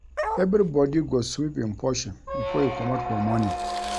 Everybodi go sweep im portion before e comot for morning.